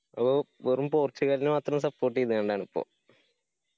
ഓ വെറും പോർചുഗലിനെ മാത്രം support ആണിപ്പോ?